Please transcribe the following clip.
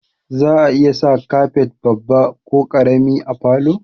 Za'a iya sa kafet babba ko ƙarami a falo